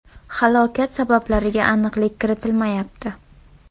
Halokat sabablariga aniqlik kiritilmayapti.